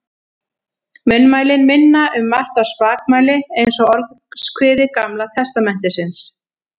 Munnmælin minna um margt á spakmæli eins og Orðskviði Gamla testamentisins.